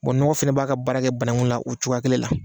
Bɔn ɲɔgɔ fɛnɛ b'a ka baara kɛ banangun la o cogoya kelen la